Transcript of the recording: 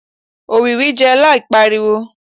òwìwí jẹun láì pariwo